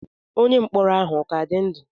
Onye mkpọrọ ahụ ọ ka dị ndụ?